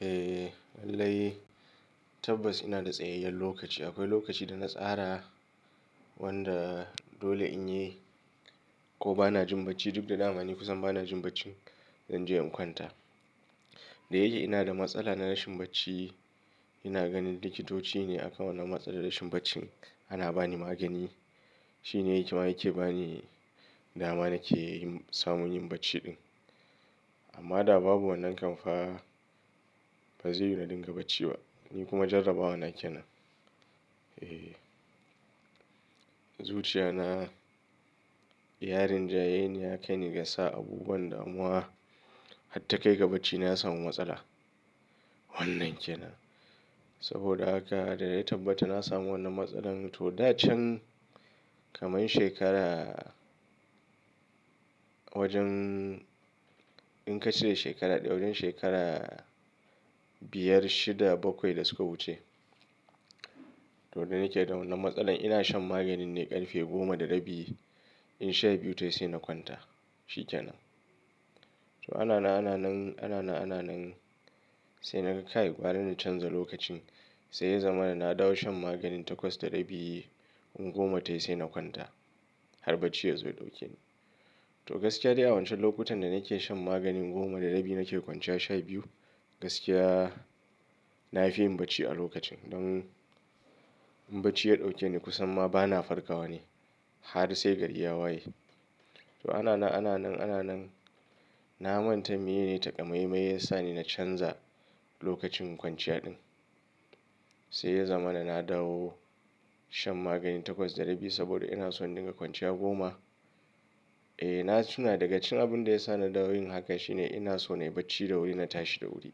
Eh lallai tabbas ina da tsayayyar lokaci. Akwai lokaci da na tsara wanda dole in yi ko bana jin bacci duk da damani kusan bana jin bacci, zan je in kwanta. Da yake ina da matsala na rashin bacci, ina ganin likitoci ne aka wanna matsalar rashin bacci, ana bani magani. Shi ne ke ma yake bani dama nake yin samun yin bacci din. Amma da babu wannan kamfa, ba zai yu na din ga bacci ba. Ni kuma jarabawa na kenan. Ee, zuciya na, yarin jayeni ya kai ni ga sa abubuwan damuwa har ta kai ga bacci na ya samu matsala. Wannan kenan. Saboda haka da ya tabbata na samu wannan matsalar to, da can, kamar shekara wajen in ka cire shekara ɗaya, wajen shekara biyar, shida, bakwai da suka wuce. To, da nake da wannan matsalar ina shan maganin ne ƙarfe goma da rabi, in sha biyu tayi sai na kwanta. Shi kenan. To, ana na ana nan, ana na ana nan sai na kai gwara in canza lokacin. Sai ya zama da na dawo shan maganin takwas da rabi in goma tayi sai na kwanta har bacci ya zo ya ɗauke ni. To, gaskiya dai a wancan lokutan da nake shan maganin goma da rabi nake kwanciya sha biyu, gaskiya na fi yin bacci a lokacin don in bacci ya ɗauke ni kusan ma bana farkawa ne har sai gari ya waye. To, ana na ana nan, ana nan na manta mai ne taƙamaimai ya sa ni na canza lokacin kwanciya din. Sai ya zama da na dawo shan maganin takwas da rabi saboda ina so na dinga kwanciya goma. E, na tuna daga cikin abun da ya sa na dawo yin haka shine ina so na yi bacci da wuri na tashi da wuri.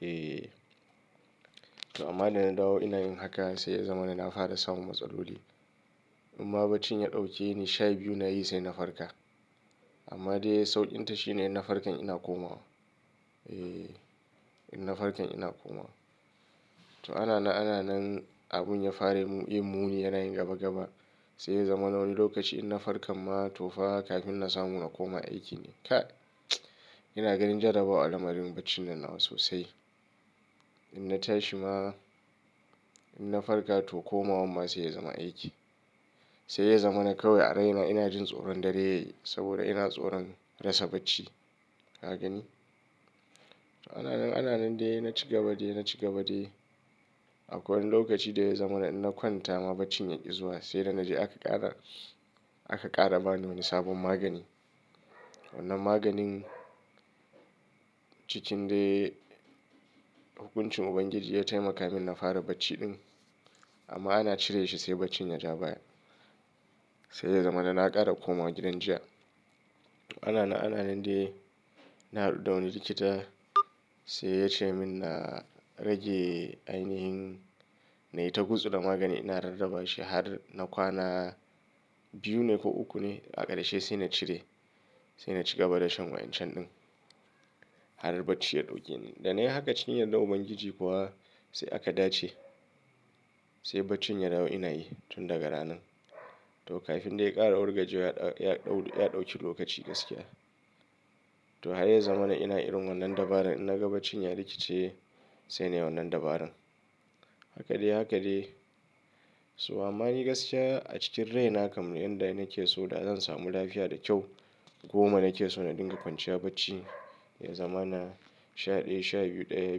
E, amma da na dawo ina yin haka sai ya zama da na fara samun matsaloli. Imma baccin ya ɗauke ni sha biyu nayi sai na farka. Amma dai sauƙin ta shine in na farka ina komawa. E, in na farka ina komawa. To, ana na ana nan abun ya fara yin muni yana yin gaba gaba. Sai ya zama na wani lokaci in na farka ma to fa kafin na samu na koma aiki ne. Ka, ina ganin jarabawa alamarin bacci nan nawa sosai. In na tashi ma, in na farka to komawa ma sai ya zama aiki. Sai ya zama na kawai a raina ina jin tsoron dare saboda ina tsoron rasa bacci. Ka gani? To, ana na ana nan dai na ci gaba dai na ci gaba dai. Akwai wani lokaci da ya zama da in na kwanta ma bacin ya ƙi zuwa. Sai dai na je aka ƙara, aka ƙara bani wani sabon magani. Wannan maganin cikin dai hukuncin Ubangiji ya taimaka min na fara bacci din. Amma ana cire shi sai baccin ya ja baya. Sai ya zama da na ƙara komawa gidan jiya. To, ana na ana nan dai na haɗu da wani likita sai ya ce min na rage ainihin na yi ta gutsura magani. Ina rarraba shi har na kwana biyu ne ko uku ne a ƙarshe sai na cire. Sai na ci gaba da shan wayan can din har bacci ya ɗauke ni. Da na yi haka cikin yardar Ubangiji kuwa sai aka dace. Sai baccin ya dawo ina yi tun daga ranan. To, kafin dai ya ƙara wargajewa ya, ya ɗauki lokaci gaskiya. To, haka ya zama da ina irin wannan dabarar in na ga baccin ya rikice sai na yi wannan dabarar. Haka dai haka dai. To amma ni gaskiya a cikin raina kamar yadda nake so da zan samu lafiya da kyau, goma nake so na dinga kwanciya bacci. Ya zama na sha ɗaya, sha biyu, ɗaya,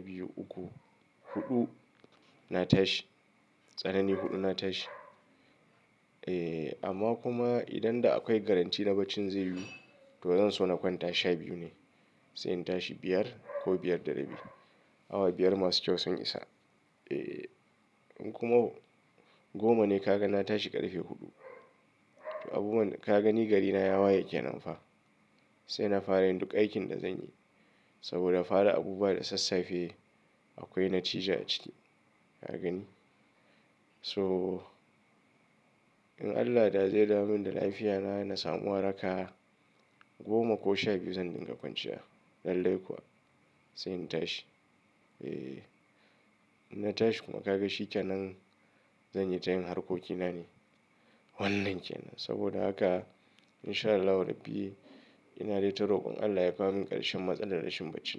biyu, uku, huɗu na tashi. Tsanani huɗu na tashi. E, amma kuma idan da akwai garantin na baccin zai yu to zan so na kwanta sha biyu ne. Sai in tashi biyar ko biyar da rabi. Awa biyar masu kyau sun isa. E, in kuma goma ne ka ga na tashi ƙarfe huɗu. To abubuwan ka gani gari na ya waye kenan fa. Sai na fara yin duk aikin da zan yi. Saboda fara abu ba da sassafe akwai natija a ciki. Ka gani? So in Allah da zai damu min da lafiyata na samu waraka goma ko sha biyu zan dinga kwanciya. Lallai kuwa sai in tashi. E, in na tashi kuma ka ga shi kenan zan yi tayin harkoki na ne. Wannan kenan. Saboda haka in sha Allahu Rabbi inata dai rokon Allah ya kawo min ƙarshen matsalar rashin bacci.